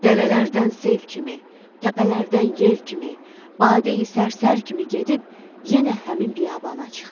Dərələrdən sel kimi, təpələrdən yel kimi, badeyi sərsər kimi gedib yenə həmin biyabana çıxdı.